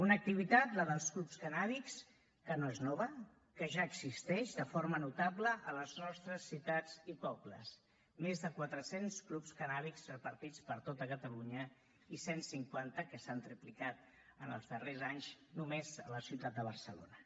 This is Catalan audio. una activitat la dels clubs cannàbics que no és nova que ja existeix de forma notable a les nostres ciutats i pobles més de quatre cents clubs cannàbics repartits per tot catalunya i cent cinquanta que s’han triplicat en els darrers anys només a la ciutat de barcelona